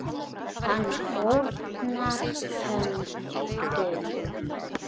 Hann fórnar höndum.